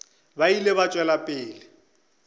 ba ile ba tšwela pele